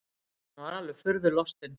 Hann var alveg furðu lostinn.